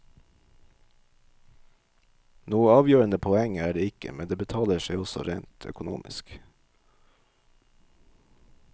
Noe avgjørende poeng er det ikke, men det betaler seg også rent økonomisk.